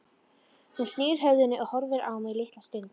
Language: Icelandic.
Hún snýr höfðinu og horfir á mig litla stund.